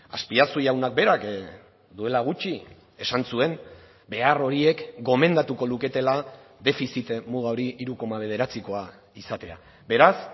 azpiazu jaunak berak duela gutxi esan zuen behar horiek gomendatuko luketela defizit muga hori hiru koma bederatzikoa izatea beraz